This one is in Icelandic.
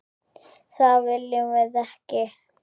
Það viljum við ekki!